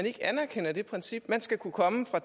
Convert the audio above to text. ikke anerkender det princip man skal kunne komme og